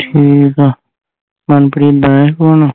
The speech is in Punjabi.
ਠੀਕ ਆ ਪਨਪ੍ਰੀਤ ਆਇਆ ਸੀ phone